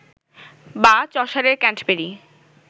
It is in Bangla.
বা চসারের ক্যাণ্টবেরি